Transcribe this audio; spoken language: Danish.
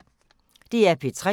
DR P3